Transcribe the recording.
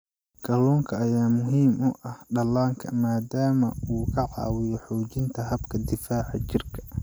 Kalluunka ayaa muhiim u ah dhallaanka maadaama uu ka caawiyo xoojinta habka difaaca jirka.